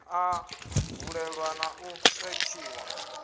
a valelwa na u setshiwa